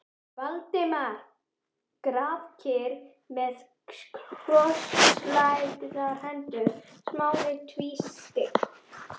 Valdimar grafkyrr með krosslagðar hendur, Smári tvístíg